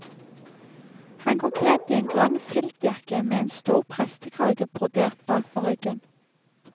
Han går kledt i en grønn filtjakke med en stor prestekrage brodert bak på ryggen.